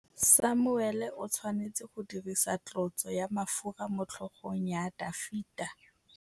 Samuele o tshwanetse go dirisa tlotsô ya mafura motlhôgong ya Dafita.